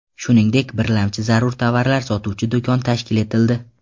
Shuningdek, birlamchi zarur tovarlar sotuvchi do‘kon tashkil etildi.